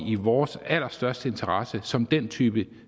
i vores allerstørste interesse som den type